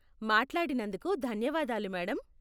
మాట్లాడినందుకు ధన్యవాదాలు మేడం.